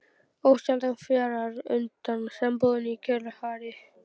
Ósjaldan fjarar undan sambúðinni í kjölfarið.